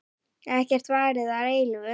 Ekkert varir að eilífu.